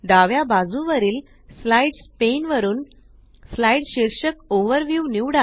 डाव्या बाजुवरील slides pane वरुन स्लाइड शीर्षक ओव्हरव्यू